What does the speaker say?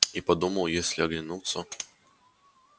и подумал если оглянутся то